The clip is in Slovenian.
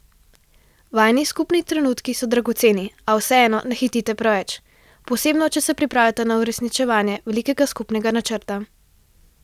Vajini skupni trenutki so dragoceni, a vseeno ne hitite preveč, posebno če se pripravljata na uresničevanje velikega skupnega načrta.